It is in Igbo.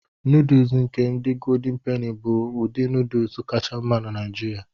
Nọdụụsụ nke ndị goldin peni bụ ụdị nọdụụsụ kacha mma na Nigeria.